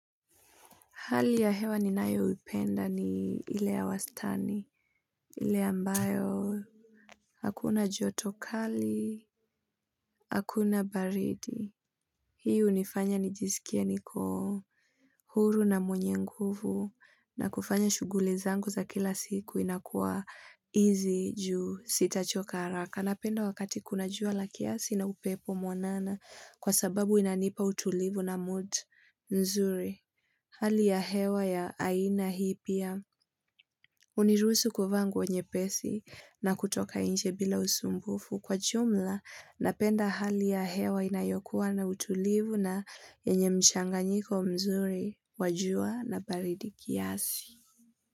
Hali ya hewa ni nayo upenda ni ile ya wastani. Ile ambayo, hakuna joto kali, hakuna baridi. Hii hunifanya nijisikia niko, huru na mwenye nguvu. Na kufanya shuguli zangu za kila siku inakuwa easy ju sitachoka haraka. Napenda wakati kuna jua la kiasi na upepo mwanana kwa sababu inanipa utulivu na mood nzuri. Hali ya hewa ya aina hii pia. Hunirusu kuvaa nguo nyepesi na kutoka nje bila usumbufu kwa jumla na penda hali ya hewa inayokuwa na utulivu na yenye mchanganyiko mzuri wajua na baridi kiasi.